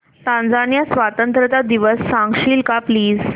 Tanzania स्वतंत्रता दिवस सांगशील का प्लीज